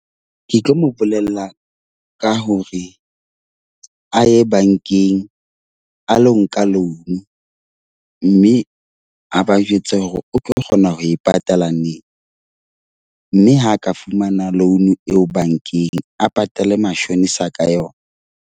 Ke tlo mo bolella ka hore a ye bankeng a lo nka loan. Mme a ba jwetse hore o tlo kgona ho e patala neng. Mme ha a ka fumana loan eo bankeng a patale mashonisa ka yona.